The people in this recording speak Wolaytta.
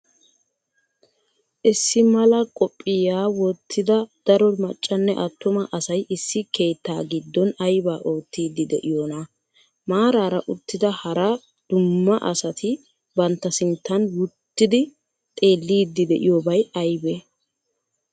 issi maalaa qophphiya wotida daro maccanne attumma asay issi keettaa giddon ayba ottiydi de7iyona? maraaara uttida haraa duummaa asati bantta sinttan wotidi xelliydi de7iyobay aybee?